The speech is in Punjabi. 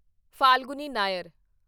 ਫਾਲਗੁਨੀ ਨਾਇਰ